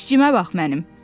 İşçimə bax mənim.